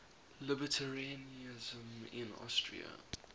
libertarianism in austria